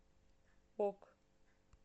ок